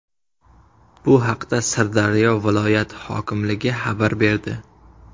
Bu haqda Sirdaryo viloyati hokimligi xabar berdi .